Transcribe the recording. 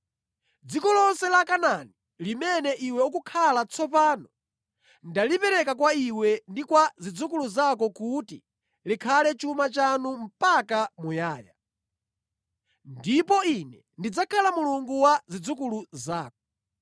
Dziko lonse la Kanaani, limene iwe ukukhala tsopano, ndalipereka kwa iwe ndi kwa zidzukulu zako kuti likhale chuma chanu mpaka muyaya. Ndipo Ine ndidzakhala Mulungu wa zidzukulu zako.”